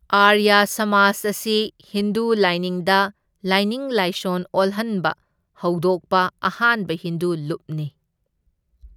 ꯑꯥꯔꯌꯥ ꯁꯃꯥꯖ ꯑꯁꯤ ꯍꯤꯟꯗꯨ ꯂꯥꯢꯅꯤꯡꯗ ꯂꯥꯏꯅꯤꯡ ꯂꯥꯏꯁꯣꯟ ꯑꯣꯜꯍꯟꯕ ꯍꯧꯗꯣꯛꯄ ꯑꯍꯥꯟꯕ ꯍꯤꯟꯗꯨ ꯂꯨꯞꯅꯤ꯫